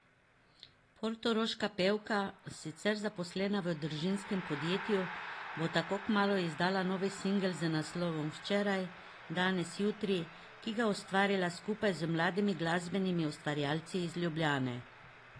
Portoroška pevka, sicer zaposlena v družinskem podjetju, bo tako kmalu izdala novi singel z naslovom Včeraj, danes, jutri, ki ga je ustvarila skupaj z mladimi glasbenimi ustvarjalci iz Ljubljane.